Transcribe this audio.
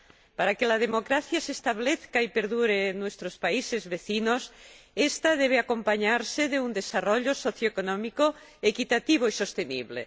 Para que la democracia se establezca y perdure en nuestros países vecinos, esta debe acompañarse de un desarrollo socioeconómico equitativo y sostenible.